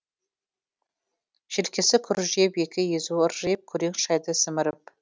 желкесі күржиіп екі езуі ыржиып күрең шайды сіміріп